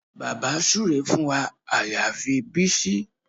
Bàbá súre fún wa àyàfi Bísí